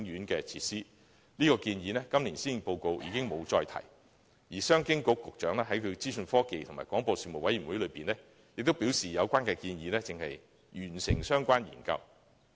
今年的施政報告已沒有再提出這項建議，而商務及經濟發展局局長亦在資訊科技及廣播事務委員會會議上表示，有關建議的相關研究尚未完成。